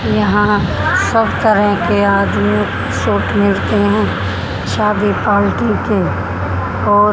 यहां सब तरह के आदमी उठते हैं शादी पार्टी के और--